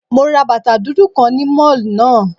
Mo ra bàtà dúdú kan ni Mall náà